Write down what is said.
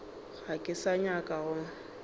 ga ke sa nyaka go